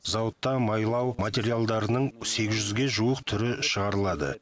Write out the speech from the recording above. зауытта майлау материалдарының сегіз жүзге жуық түрі шығарылады